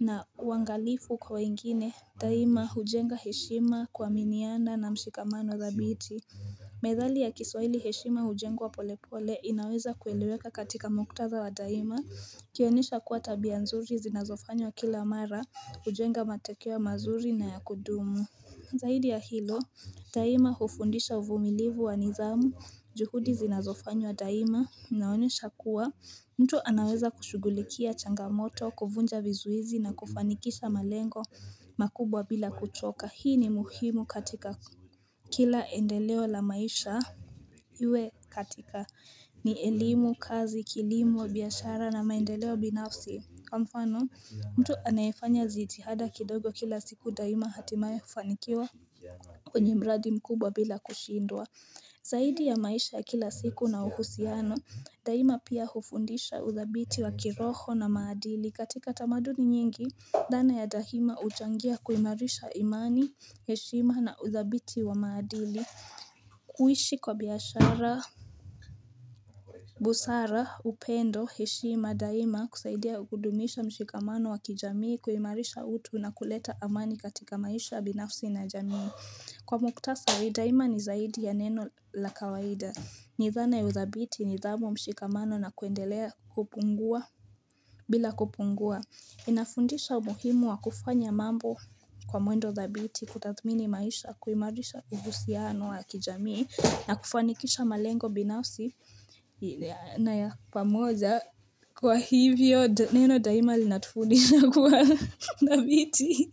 na uangalifu kwa wengine Daima hujenga heshima kuaminiana na mshikamano dhabiti Methali ya kiswahili heshima hujengwa pole pole inaweza kueleweka katika muktadha wa daima ikionyesha kuwa tabia nzuri zinazofanywa kila mara hujenga matokeo mazuri na ya kudumu Zaidi ya hilo Daima hufundisha uvumilivu wa nidhamu juhudi zinazofanywa daima inaonyesha kuwa mtu anaweza kushugulikia changamoto kuvunja vizuizi na kufanikisha malengo makubwa bila kuchoka hii ni muhimu katika kila endeleo la maisha Iwe katika ni elimu kazi kilimo biashara na maendeleo binafsi kwa mfano mtu anayefanya zitihada kidogo kila siku daima hatimae hufanikiwa kwenye mradi mkubwa bila kushindwa saidi ya maisha ya kila siku na uhusiano Daima pia hufundisha udhabiti wa kiroho na maadili katika tamaduni nyingi dhana ya dahima uchangia kuimarisha imani, heshima na udhabiti wa maadili kuishi kwa biashara busara upendo heshima daima husaidia kudumisha mshikamano wa kijamii kuimarisha utu na kuleta amani katika maisha binafsi na ya jamii Kwa mukhtasari daima ni zaidi ya neno la kawaida ni dhana ya udhabiti nidhamu mshikamano na kuendelea bila kupungua inafundisha umuhimu wa kufanya mambo kwa mwendo thabiti kutathmini maisha kuimarisha uhusiano wa kijamii na kufanikisha malengo binafsi na ya pamoja kwa hivyo neno daima linatufundisha kuwa thabiti.